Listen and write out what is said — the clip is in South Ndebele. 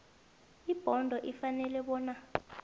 ibhodo ifanele bona